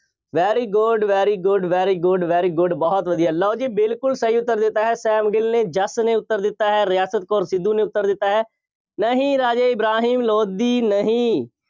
very good, very good, very good, very good ਬਹੁਤ ਵਧੀਆ। ਲਓ ਜੀ ਬਿਲਕੁੱਲ ਸਹੀ ਉੱਤਰ ਦਿੱਤਾ ਹੈ, ਸੈਮ ਗਿੱਲ ਨੇ, ਜੱਸ ਨੇ ਉੱਤਰ ਦਿੱਤਾ ਹੈ, ਰਿਆਸਤ ਕੌਰ ਸਿੱਧੂ ਨੇ ਉੱਤਰ ਦਿੱਤਾ ਹੈ, ਨਹੀਂ ਰਾਜੇ ਇਬਰਾਹਿਮ ਲੋਧੀ ਨਹੀਂ।